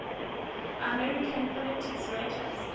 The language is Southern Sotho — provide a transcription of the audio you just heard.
american political writers